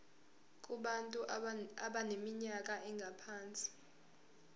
kubantu abaneminyaka engaphansi